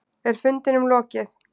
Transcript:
Er fundinum lokið?